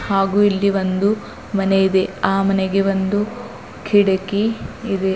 ಹಾಗೂ ಇಲ್ಲಿ ಒಂದು ಮನೆ ಇದೆ ಆ ಮನೆಗೆ ಒಂದು ಕಿಡಕಿ ಇದೆ.